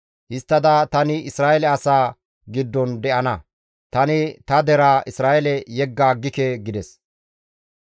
Histtada tani Isra7eele asaa giddon de7ana; tani ta deraa Isra7eele yegga aggike» gides.